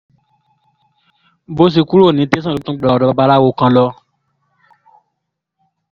bó ṣe kúrò ní tẹ̀sán ló tún gba ọ̀dọ́ babaláwo kan lọ